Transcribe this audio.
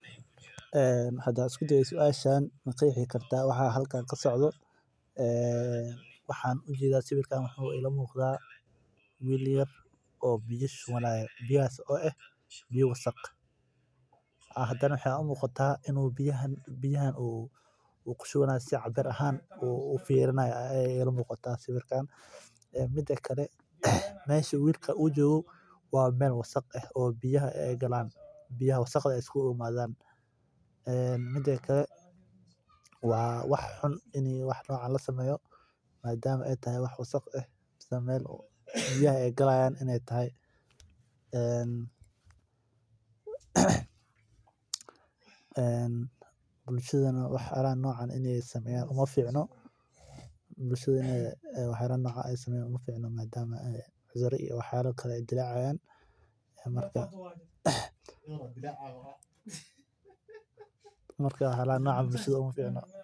Ee hada an isku dayo suashan maqexi kartaa waxa halkan kasocdo waxan arki haya wil yar oo biya shubanaya mida kale mesha wilka u jogo waa mwel biyaha iskugu imadhan bulshadana waxyalahan in ee sameyan uma ficno marka umaficno sas waye wana wasaq jogto ah aniga waa necbahay hoshan.